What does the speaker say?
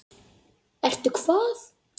Ertu hvað?